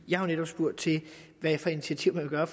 jeg har netop spurgt til hvilke initiativer